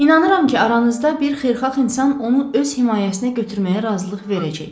İnanıram ki, aranızda bir xeyirxah insan onu öz himayəsinə götürməyə razılıq verəcək.